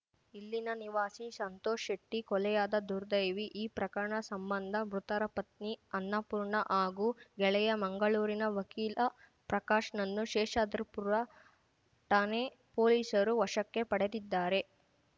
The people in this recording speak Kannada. ಇಲ್ಲಿನ ನಿವಾಸಿ ಸಂತೋಷ್‌ ಶೆಟ್ಟಿ ಕೊಲೆಯಾದ ದುರ್ದೈವಿ ಈ ಪ್ರಕರಣ ಸಂಬಂಧ ಮೃತರ ಪತ್ನಿ ಅನ್ನಪೂರ್ಣ ಹಾಗೂ ಗೆಳೆಯ ಮಂಗಳೂರಿನ ವಕೀಲ ಪ್ರಕಾಶ್‌ನನ್ನು ಶೇಷಾದ್ರಿಪುರ ಠಾಣೆ ಪೊಲೀಸರು ವಶಕ್ಕೆ ಪಡೆದಿದ್ದಾರೆ